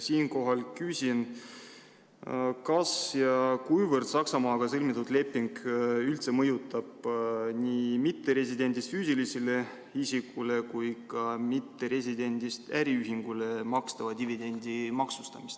Siinkohal küsin, kas ja kuivõrd Saksamaaga sõlmitud leping üldse mõjutab nii mitteresidendist füüsilisele isikule kui ka mitteresidendist äriühingule makstava dividendi maksustamist.